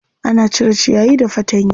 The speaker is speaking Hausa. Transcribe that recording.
Ana cire ciyayi da fatanya.